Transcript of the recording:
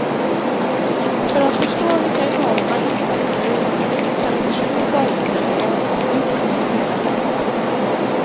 För att förstå vilka enorma insatser det gäller kan ni försöka föreställa er att utgången blev den motsatta.